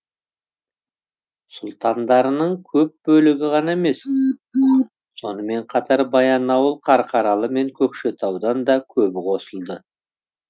сұлтандарының көп бөлігі ғана емес сонымен қатар баянауыл қарқаралы мен көкшетаудан да көбі қосылды